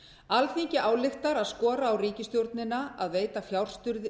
alþingi ályktar að skora á ríkisstjórnina að veita fjárstuðning